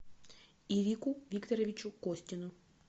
ирику викторовичу костину